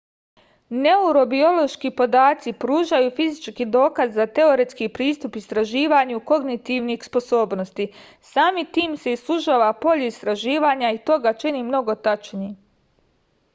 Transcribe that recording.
neurobiološki podaci pružaju fizički dokaz za teoretski pristup istraživanju kognitivnih sposobnosti samim tim se sužava polje istraživanja i to ga čini mnogo tačnijim